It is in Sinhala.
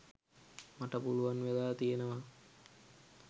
මට පුළුවන් වෙලා තියෙනවා